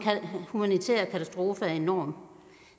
humanitære katastrofe er enorm